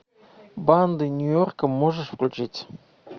банды нью йорка можешь включить